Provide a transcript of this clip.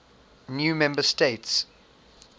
new member states